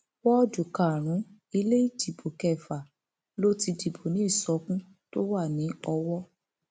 wọọdù karùnún ilé ìdìbò kẹfà ló ti dìbò ní ìsọkun tó wà ní owó